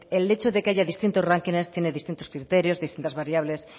el hecho de que haya distintos rankings tienen distintos criterios distintas variables